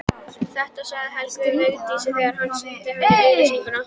Þetta sagði Helgi við Vigdísi þegar hann sýndi henni auglýsinguna.